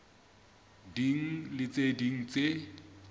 ding le tse ding tse